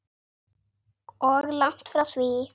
Og langt frá því.